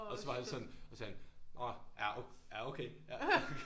Og så var han så så sagde han nåh ja ja okay ja